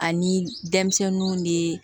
Ani denmisɛnninw ne